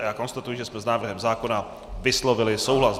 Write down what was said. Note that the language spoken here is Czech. A já konstatuji, že jsme s návrhem zákona vyslovili souhlas.